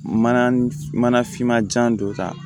Mana mana finmanjan don tan